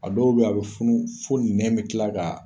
A dɔw bɛ a bɛ funu fo nɛn bɛ kila ka